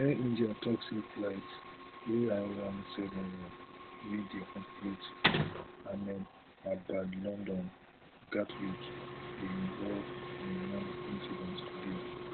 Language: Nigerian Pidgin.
air india tok say flight ai one seven one wey dey operate ahmedabad london gatwick dey involved in one incident today